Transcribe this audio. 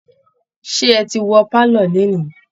Ṣé ẹ ti wọ pálọ̀ lénìí'